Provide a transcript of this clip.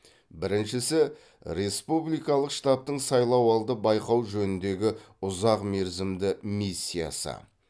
біріншісі республикалық штабтың сайлауалды байқау жөніндегі ұзақ мерзімді миссиясы